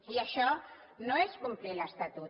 i això no és complir l’estatut